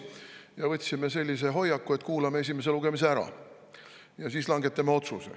Me võtsime sellise hoiaku, et kuulame esimese lugemise ära ja siis langetame otsuse.